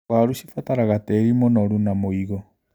Waru cibataraga tĩri mũnoru na mũigũ.